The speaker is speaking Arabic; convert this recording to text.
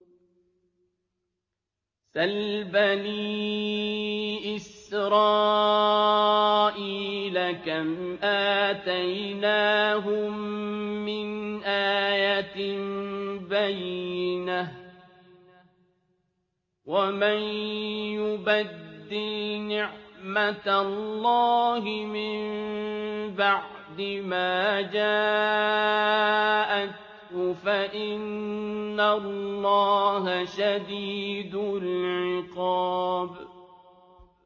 سَلْ بَنِي إِسْرَائِيلَ كَمْ آتَيْنَاهُم مِّنْ آيَةٍ بَيِّنَةٍ ۗ وَمَن يُبَدِّلْ نِعْمَةَ اللَّهِ مِن بَعْدِ مَا جَاءَتْهُ فَإِنَّ اللَّهَ شَدِيدُ الْعِقَابِ